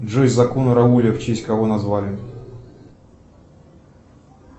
джой закон рауля в честь кого назвали